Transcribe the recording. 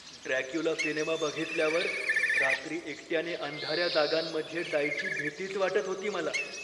Dracula cinema बघितल्यावर रात्री एकट्याने अंधाऱ्या जागांमध्ये जायची भीतीच वाटत होती मला.